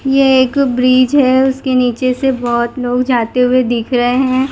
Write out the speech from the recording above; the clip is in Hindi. ये एक ब्रिज है उसके नीचे से बहुत लोग जाते हुए दिख रहे हैं।